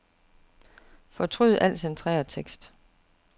Fortryd al centreret tekst.